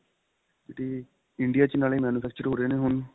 ਤੇ India ਚ ਨਾਲੇ manufacture ਹੋ ਰਹੇ ਨੇ ਹੁਣ